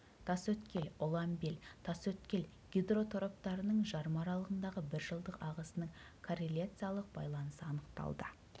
тасөткел ұланбел тасөткел гидротораптарының жарма аралығындағы бір жылдық ағысының корреляциялық байланысы анықталды